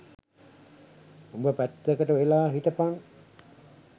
උඹ පැත්තකට වෙලා හිටපන්